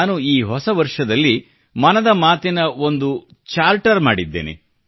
ನಾನು ಈ ಹೊಸವರ್ಷದಲ್ಲಿ ಮನದ ಮಾತಿನ ಬಗ್ಗೆ ಒಂದು ಚಾರ್ಟರ್ ಮಾಡಿದ್ದೇನೆ